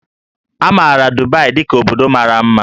A maara Dubai dị ka obodo mara mma